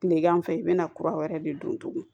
Tilegan fɛ i bɛ na kura wɛrɛ de don tuguni